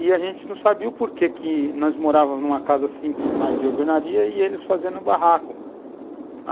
E a gente não sabia o porquê que nós morávamos numa casa simples, mas de overnaria, e eles fazendo barracos.